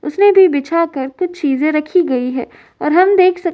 उसने भी बिछाकर कुछ चीजें रखी गई हैं और हम देख सक --